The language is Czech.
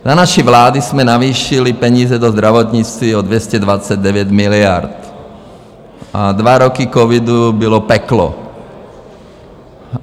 Za naší vlády jsme navýšili peníze do zdravotnictví o 229 miliard a dva roky covidu bylo peklo.